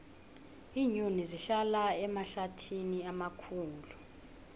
iinyoni zihlala emahlathini amakhulu